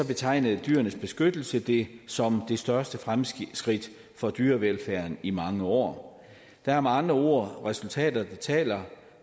betegnede dyrenes beskyttelse det som det største fremskridt for dyrevelfærden i mange år der er med andre ord resultater der taler